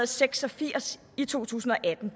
seks og firs i to tusind og atten